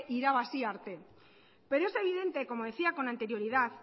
irabazi arte pero es evidente como decía con anterioridad